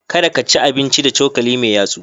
Kada ka ci abinci da cokali mai yatsu.